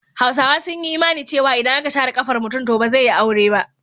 Hausawa sun yi imani cewa idan aka share ƙafar mutum to ba zai yi aure ba.